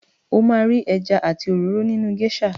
O máa ri ẹja àti òróró nínú géṣà.